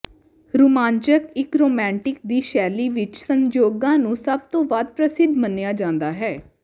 ਰੁਮਾਂਚਕ ਇੱਕ ਰੋਮਾਂਟਿਕ ਦੀ ਸ਼ੈਲੀ ਵਿੱਚ ਸੰਯੋਗਾਂ ਨੂੰ ਸਭ ਤੋਂ ਵੱਧ ਪ੍ਰਸਿੱਧ ਮੰਨਿਆ ਜਾਂਦਾ ਹੈ